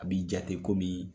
A b'i jate komi,